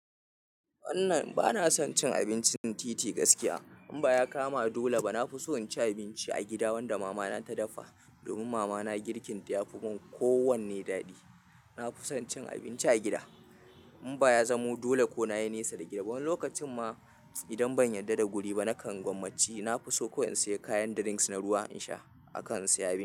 Wannan ba na son cin abincin titi gaskiya. In ba ya kama dole ba, na fi so in ci abinci a gida wanda mama na ta dafa. Domin mama na girkin ta yafi mun ko wanne daɗi. Na fi son cin abinci a gida. In ba ya zamo dole ko na yi nesa da gidaba, wani lokacin ma idan ban yarda da guri ba nakan gwammaci. Na fi so ko in sayi kayan drinks na ruwa in sha, akan in saya abinci.